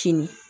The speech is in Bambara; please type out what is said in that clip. Kini